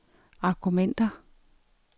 argumenter